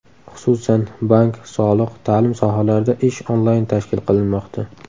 Xususan, bank , soliq , ta’lim sohalarida ish onlayn tashkil qilinmoqda.